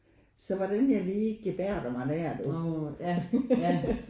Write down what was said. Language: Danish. Så hvordan jeg lige gebærder mig der du